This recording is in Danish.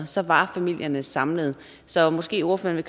så var familierne samlede så måske ordføreren